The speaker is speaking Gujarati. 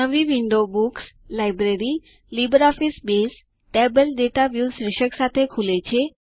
નવી window books - library - LibreOffice Base table data view શીર્ષક સાથે ખુલે છે